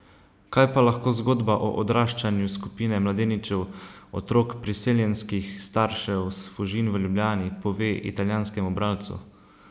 Kaj pa lahko zgodba o odraščanju skupine mladeničev, otrok priseljenskih staršev s Fužin v Ljubljani, pove italijanskemu bralcu?